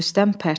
Rüstəm pərt.